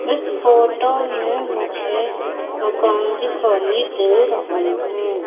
इस फोटो में मुझे मकान दिखाई दे रहे है।